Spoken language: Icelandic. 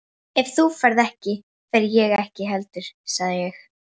Ef þú ferð ekki, fer ég ekki heldur sagði ég.